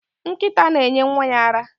Nkita na enye Nwa ya ara